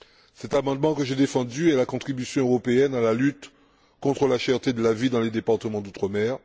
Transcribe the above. Cet amendement, que j'ai défendu, est la contribution européenne à la lutte contre la cherté de la vie dans les départements d'outre mer.